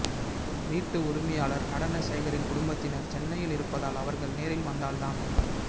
வீட்டு உரிமையாளா் நடனசேகரின் குடும்பத்தினா் சென்னையில் இருப்பதால் அவா்கள் நேரில் வந்தால்தான்